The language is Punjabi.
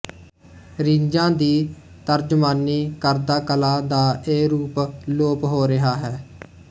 ਰੀਝਾਂ ਦੀ ਤਰਜਮਾਨੀ ਕਰਦਾ ਕਲਾ ਦਾ ਇਹ ਰੂਪ ਲੋਪ ਹੋ ਰਿਹਾ ਹੈ